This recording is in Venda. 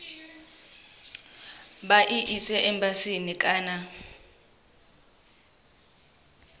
vha i ise embasini kana